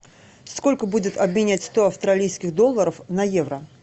сколько будет обменять сто австралийских долларов на евро